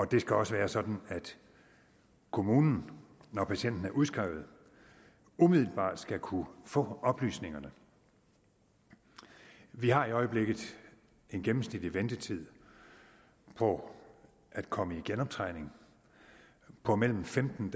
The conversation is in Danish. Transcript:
det skal også være sådan at kommunen når patienten er udskrevet umiddelbart skal kunne få oplysningerne vi har i øjeblikket en gennemsnitlig ventetid på at komme i genoptræning på mellem femten